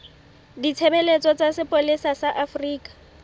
ditshebeletso tsa sepolesa sa afrika